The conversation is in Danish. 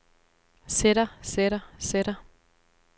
sætter sætter sætter